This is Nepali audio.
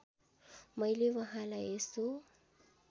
मैले वहाँलाई यसो